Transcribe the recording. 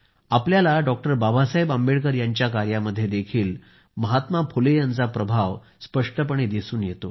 आपल्याला बाबासाहेब आंबेडकर यांच्या कार्यामध्येही महात्मा फुले यांचा प्रभाव स्पष्टपणे दिसून येतो